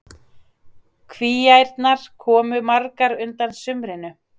Kvíaærnar komu magrar undan sumrinu.